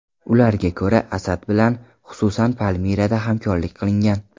Ularga ko‘ra, Asad bilan, xususan, Palmirada hamkorlik qilingan.